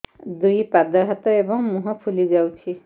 ଦୁଇ ପାଦ ହାତ ଏବଂ ମୁହଁ ଫୁଲି ଯାଉଛି